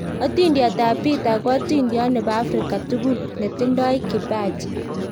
Atindoniot ab Peter ko atindoniot nebo Afrika tukul netindoi kipaji